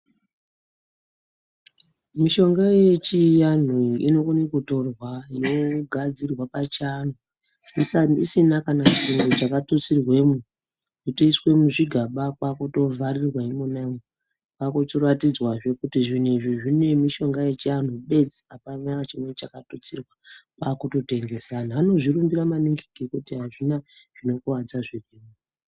Mishonga yechianhu inokone kutorwa inogadzirwa pachianhu isina kana chiro chakatutsirwemo yotoiswe muzvigaba kwakutovharirwemo kwakutoratidzwazve kuti zvinhu izvi zvine mishonga yechianhu bedzi apana chimweni chakatutsirwa kwakutotengesa anhu anozvirimbira maningi ngekuti azvina zvinokuwadza zvirimwo.